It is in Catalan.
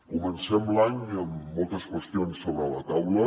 comencem l’any amb moltes qüestions sobre la taula